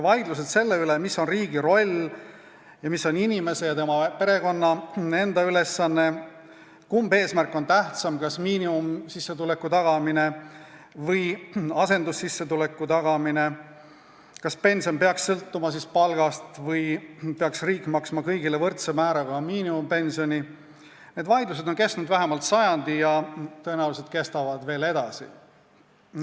Vaidlused selle üle, mis on riigi roll ning mis on inimese ja tema perekonna enda ülesanne, kumb eesmärk on tähtsam, kas miinimumsissetuleku tagamine või asendussissetuleku tagamine, kas pension peaks sõltuma palgast või peaks riik maksma kõigile võrdse määraga miinimumpensioni – need vaidlused on kestnud vähemalt sajandi ja tõenäoliselt kestavad edasi.